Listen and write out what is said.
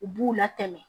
U b'u latɛmɛ